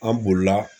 An bolila